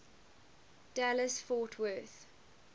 dallas fort worth